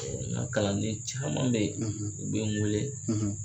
Nka kalanden caman bɛ ye bɛ n weele.